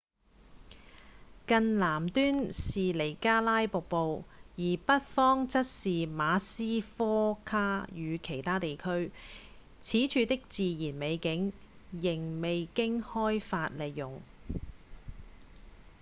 更南端是尼加拉瀑布而北方則是馬斯科卡與其他地區此處的自然美景仍未經開發利用